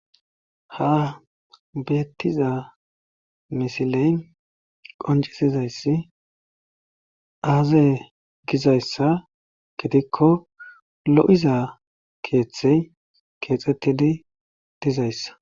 ha beettiza misiley qoncisizayssi aaze gizayssa gidikko lo'iza keeththey keexxettidi dizayssa